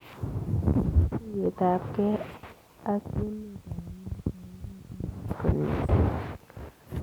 Katuyet ap gei ak emeet ap Amerika kokotoret koot mising